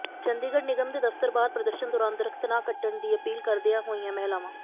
ਚੰਡੀਗੜ੍ਹ ਨਿਗਮ ਦੇ ਦਫ਼ਤਰ ਬਾਹਰ ਪ੍ਰਦਰਸ਼ਨ ਦੌਰਾਨ ਦਰੱਖ਼ਤ ਨਾ ਕੱਟਣ ਦੀ ਅਪੀਲ ਕਰਦੀਆਂ ਹੋਈਆਂ ਮਹਿਲਾਵਾਂ